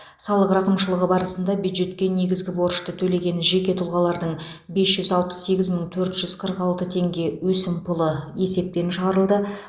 салық рақымшылығы барысында бюджетке негізгі борышты төлеген жеке тұлғалардың бес жүз алпыс сегіз мың төрт жүз қырық алты теңге өсімпұлы есептен шығарылды